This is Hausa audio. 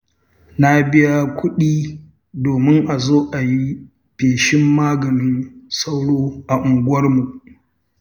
Na biya kuɗi domin a zo a yi feshin maganin sauro a unguwarmu.